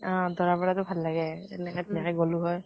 অ দৰা বৰা তো ভাল লাগে এনেকে গলো হয়।